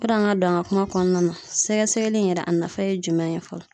Yanni an ka don an ka kuma kɔnɔna na, sɛgɛsɛgɛli in yɛrɛ , a nafa ye jumɛn ye fɔlɔ?